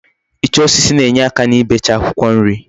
Icha osisi na-enyeaka n'ibecha Akwukwo nri